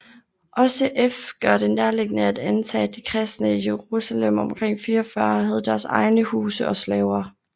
Også f gør det nærliggende at antage at de kristne i Jerusalem omkring 44 havde deres egne huse og slaver